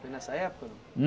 Foi nessa época? Hum